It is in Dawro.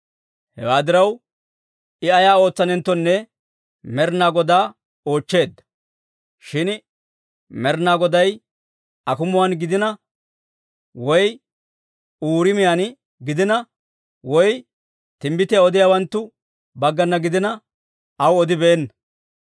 Hewaa diraw, I ay ootsanenttonne Med'inaa Godaa oochcheedda; shin Med'inaa Goday akumuwaan gidiina, woy Uuriimiyaan gidiina, woy timbbitiyaa odiyaawanttu baggana gidiina, aw odibeenna.